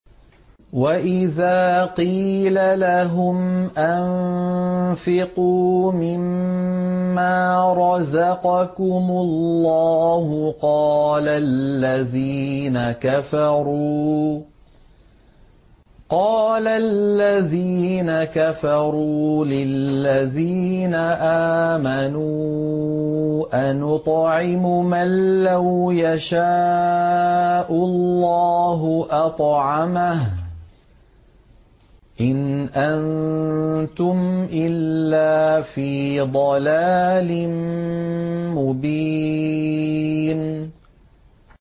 وَإِذَا قِيلَ لَهُمْ أَنفِقُوا مِمَّا رَزَقَكُمُ اللَّهُ قَالَ الَّذِينَ كَفَرُوا لِلَّذِينَ آمَنُوا أَنُطْعِمُ مَن لَّوْ يَشَاءُ اللَّهُ أَطْعَمَهُ إِنْ أَنتُمْ إِلَّا فِي ضَلَالٍ مُّبِينٍ